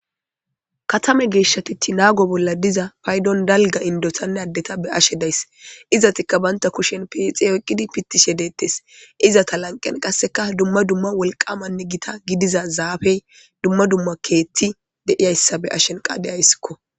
Katame geeshshatiti naago bolla diza paydon dalga indotanne addeta be ashe days izatikka baynta kushen piixe oyqqidi pittishe deettes izata lanqen qasseka dumma dumma wolqamanne gita gidiza zaafey dumma dumma keetti deiyayssa be ashen qa deyayssikko